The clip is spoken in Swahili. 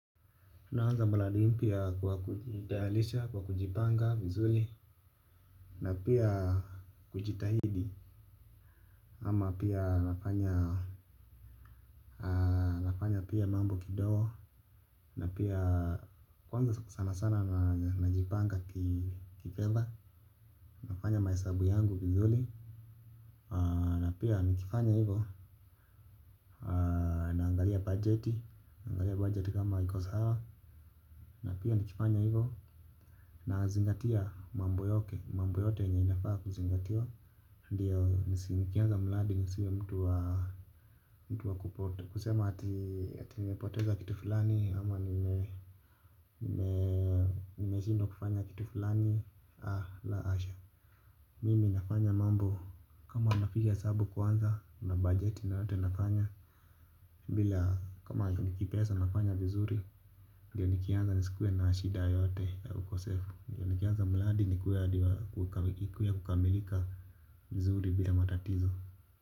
Naanza mradi mpya kwa kujipanga vizuri na pia kujitahidi ama pia nafanya pia mambo kidogo, na pia kwanza sana sana na jipanga kifedha nafanya mahesabu yangu vizuri na pia nikifanya hivo naangalia bajeti, naangalia bajeti kama kiko sawa. Na pia nikifanya hivo na zingatia mambo yote, mambo yote yenye inafaa kuzingatiwa ndiyo nikianza mradi nisiwe mtu wa kupotea, kusema ati nimepoteza kitu fulani ama nimeshindwa kufanya kitu fulani, la hasha mimi nafanya mambo kama napiga hesabu kwanza na bajeti yote nafanya, kama ni kipesa nafanya vizuri ndiyo nikianza nisikuwe na shida yoyote ya ukosefu. Nikiaza mradi ni ikuwe ya kukamilika vizuri bila matatizo.